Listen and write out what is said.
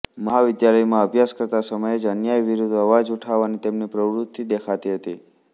મહાવિદ્યાલયમાં અભ્યાસ કરતા સમયે જ અન્યાય વિરુદ્ધ અવાજ ઉઠાવવાની તેમની પ્રવૃત્તિ દેખાતી હતી